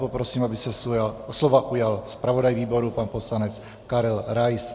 Poprosím, aby se slova ujal zpravodaj výboru pan poslanec Karel Rais.